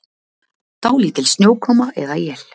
Dálítil snjókoma eða él